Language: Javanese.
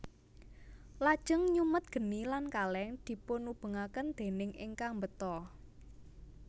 Lajeng nyumet geni lan kaleng dipunubengaken déning ingkang mbeta